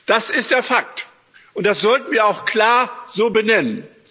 Das ist der Fakt, und das sollten wir auch klar so benennen.